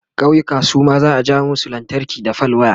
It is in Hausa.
ƙauyuka Suma za'a ja musu lantarki da fal waya